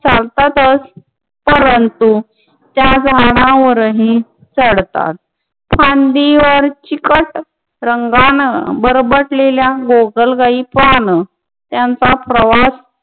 चालतातच परंतु त्या झाडावरही चढतात फांदीवर चिकट रंगानं वर बसलेल्या गोगलगायी पाहणं यांचा प्रवास